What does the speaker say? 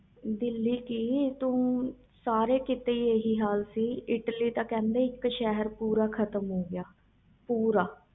ਦਿੱਲੀ ਕਿ ਸਾਰੇ ਕੀਤੇ ਹੀ ਹਾਲ ਸੀ ਇਟਲੀ ਤਾ ਕਹਿੰਦੇ ਸੀ ਪੂਰਾ ਸ਼ਹਿਰ ਖਤਮ ਹੋ ਗਿਆ